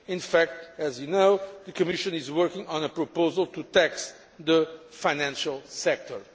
In fact as you know, the Commission is working on a proposal to tax the financial sector.